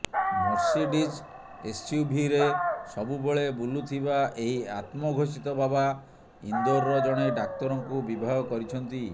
Mercedes ଏସ୍ୟୁଭିରେ ସବୁବେଳେ ବୁଲୁଥିବା ଏହି ଆତ୍ମଘୋଷିତ ବାବା ଇନ୍ଦୋରର ଜଣେ ଡାକ୍ତରଙ୍କୁ ବିବାହ କରିଛନ୍ତି